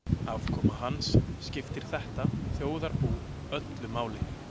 Afkoma hans skiptir þetta þjóðarbú öllu máli.